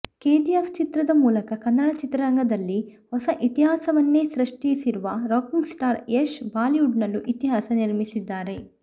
KGF ಚಿತ್ರದ ಮೂಲಕ ಕನ್ನಡ ಚಿತ್ರರಂಗದಲ್ಲಿ ಹೊಸ ಇತಿಹಾಸವನ್ನೇ ಸೃಷ್ಟಿಸಿರುವ ರಾಕಿಂಗ್ ಸ್ಟಾರ್ ಯಶ್ ಬಾಲಿವುಡ್ನಲ್ಲೂ ಇತಿಹಾಸ ನಿರ್ಮಿಸಿದ್ದಾರೆ